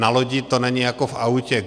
Na lodi to není jako v autě.